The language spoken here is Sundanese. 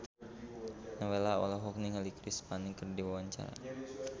Nowela olohok ningali Chris Pane keur diwawancara